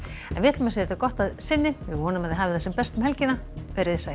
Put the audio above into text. en við segjum þetta gott að sinni vonum að þið hafið það sem best um helgina veriði sæl